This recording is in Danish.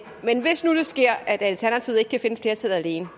men hvis nu det sker at alternativet ikke kan finde flertallet alene